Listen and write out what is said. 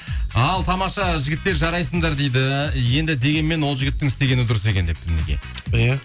ал тамаша жігіттер жарайсыңдар дейді енді дегенмен ол жігіттің істегені дұрыс екен депті мінекей иә